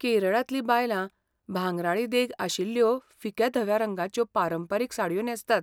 केरळांतलीं बायलां भांगराळी देग आशिल्ल्यो फिक्या धव्या रंगाच्यो पारंपारीक साडयो न्हेसतात.